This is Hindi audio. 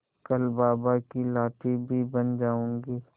कल बाबा की लाठी भी बन जाऊंगी